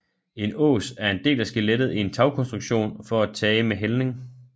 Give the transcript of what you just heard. En ås en del af skelettet i en tagkonstruktion for tage med hældning